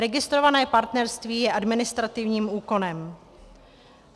Registrované partnerství je administrativním úkonem.